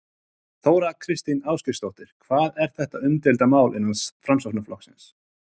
Þóra Kristín Ásgeirsdóttir: Hvað er þetta umdeilt mál innan Framsóknarflokksins?